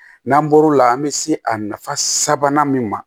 N'an bɔr'o la an bɛ se a nafa sabanan min ma